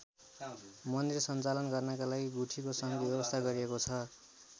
मन्दिर सञ्चालन गर्नका लागि गुठीको समेत व्यवस्था गरिएको छ।